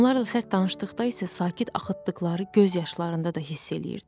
Onlar da sərt danışdıqda isə sakit axıtdıqları göz yaşlarında da hiss eləyirdi.